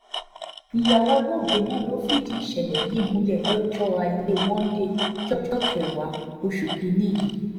ìyàwó olóògbé náà ló fìdí ìṣẹ̀lẹ̀ yìí múlẹ̀ lọ́jọ́ ajé monde ọjọ́ kẹwàá oṣù kì-ín-ní yìí